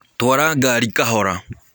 Twara ngarĩ kahora.